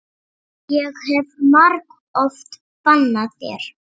Ég hef margoft bannað þér.